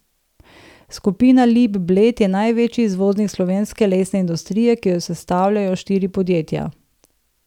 Skupina Lip Bled je največji izvoznik slovenske lesne industrije, ki jo sestavljajo štiri podjetja.